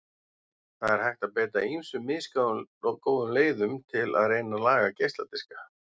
Það er hægt að beita ýmsum misgóðum leiðum til að reyna að laga geisladiska.